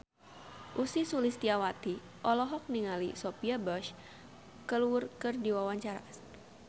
Ussy Sulistyawati olohok ningali Sophia Bush keur diwawancara